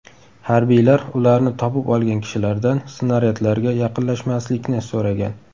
Harbiylar ularni topib olgan kishilardan snaryadlarga yaqinlashmaslikni so‘ragan.